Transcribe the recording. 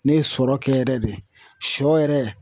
Ne ye sɔrɔ kɛ yɛrɛ de, sɔ yɛrɛ